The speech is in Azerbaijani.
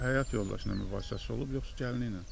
Həyat yoldaşı ilə mübahisəsi olub yoxsa gəlini ilə?